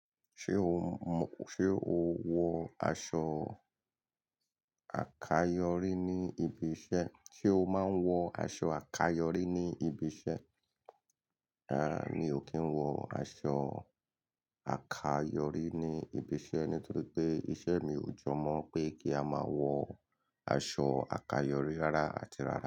Ṣé o mọ, ṣe o wọ aṣọ àkayòrí ní ibi iṣẹ́? Sé o máa ń wọ aṣọ àkayòrí ní ibi iṣẹ́? Rárá mi ò kí ń wọ aṣọ àkayọrí ní ibi iṣẹ́ nítorí pé iṣẹ́ mi ò jọ mọ́ pé kí a máa wọ aṣọ àkayọrí rárá àti rárá.